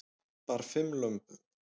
Bar fimm lömbum